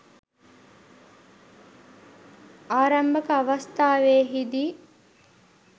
ආරම්භක අවස්ථාවෙහිදී